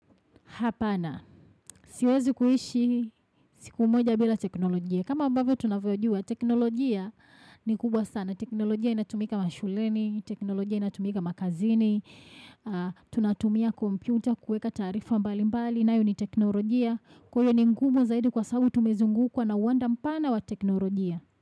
Hapana. Siwezi kuishi siku moja bila teknolojia. Kama ambavyo tunavyojua teknolojia ni kubwa sana. Teknolojia inatumika mashuleni, teknolojia inatumika makazini, tunatumia kompyuta, kuweka taarifa mbalimbali nayo ni teknolojia. Kwa hiyo ni ngumu zaidi kwa sababu tumezungukwa na uwanda mpana wa teknolojia.